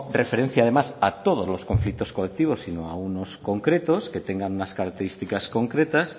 referencia además a todos los conflictos colectivos sino a unos concretos que tengan unas características concretas